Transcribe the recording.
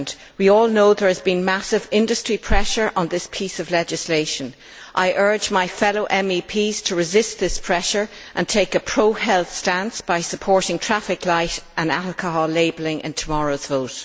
We all know there has been massive industry pressure on this piece of legislation. I urge my fellow MEPs to resist this pressure and take a pro health stance by supporting traffic light and alcohol labelling in tomorrow's vote.